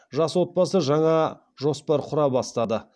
жас отбасы жаңа жоспар құра бастады